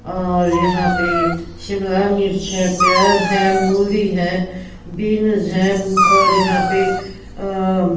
और यहां पे शिमला मिर्च है प्याज है मूली है बीनस है और यहां पे अ--